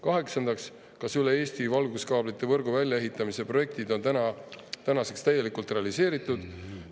Kaheksandaks, kas üle Eesti valguskaablite võrgu välja ehitamise projektid on tänaseks täielikult realiseeritud?